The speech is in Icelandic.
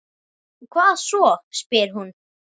Og hvað svo, spyr hún.